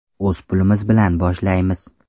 O‘z pulimiz bilan boshlaymiz.